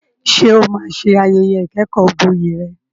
Ṣé o máa ṣe ayẹyẹ ìkẹ́kọ̀ọ́gboyè rẹ?